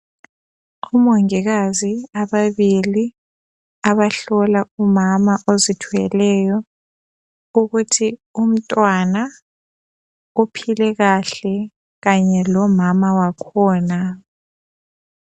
Omongikazi ababili abahlola umama ozithweleyo ukuthi umntwana uphile kahle kanye lomama wakhona .